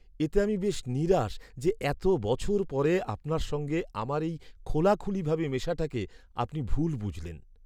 এতে আমি বেশ নিরাশ যে এত বছর পরে আপনার সঙ্গে আমার এই খোলাখুলিভাবে মেশাটাকে আপনি ভুল বুঝলেন।